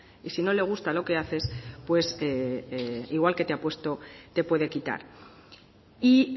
y si no le gusta lo que haces pues igual que te ha puesto te puede quitar y